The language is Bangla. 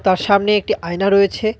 তার সামনে একটি আয়না রয়েছে.